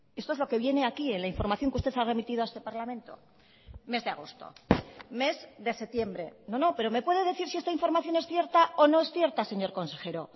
esto es lo que viene aquí en la información que usted ha remitido a este parlamento mes de agosto mes de septiembre no no pero me puede decir si esta información es cierta o no es cierta señor consejero